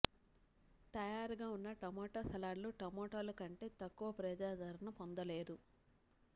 తయారుగా ఉన్న టొమాటో సలాడ్లు టమోటాలు కంటే తక్కువ ప్రజాదరణ పొందలేదు